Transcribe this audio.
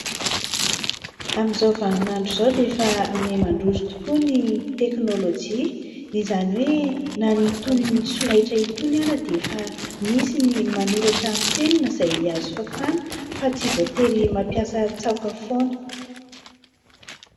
Amin'izao vaninandro iza dia efa miha-mandroso tokoa ny teknolojia, izany hoe na itony solaitra itony ara dia efa misy ny manoratra amin'ny penina izay azo fafana fa tsy voatery mampiasa tsaoka foana.